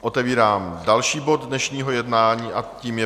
Otevírám další bod dnešního jednání a tím je